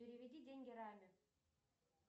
переведи деньги раме